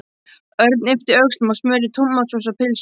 Örn yppti öxlum og smurði tómatsósu á pylsu.